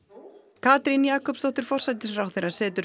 Katrín Jakobsdóttir forsætisráðherra setur